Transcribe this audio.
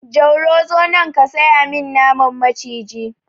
Jauro zo nan ka saya min naman maciji!